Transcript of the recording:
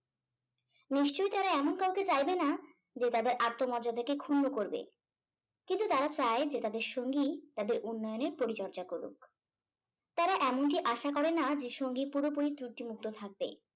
নিশ্চয় তারা এমন কাউকে চাইবে না যে তাদের আত্মমর্যাদাকে ক্ষুন্ন করবে কিন্তু তারা চাই যে তাদের সঙ্গী তাদের উন্নয়নের পরিচর্যা করুক তারা এমন কি আশা করে না যে সঙ্গী পুরোপুরি ত্রূটি মুক্ত থাকবে